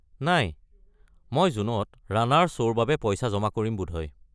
নাই, মই জুনত ৰাণাৰ শ্ব'ৰ বাবে পইচা জমা কৰিম বোধহয়।